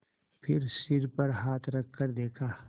फिर सिर पर हाथ रखकर देखा